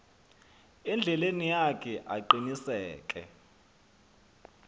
endleleni yakhe aqiniseke